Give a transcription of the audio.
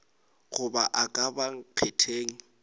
goba a ka ba nkgetheng